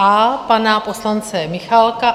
A pana poslance Michálka;